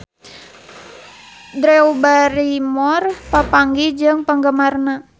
Drew Barrymore papanggih jeung penggemarna